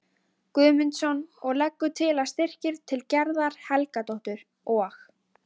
Guðmundsson og leggur til að styrkir til Gerðar Helgadóttur og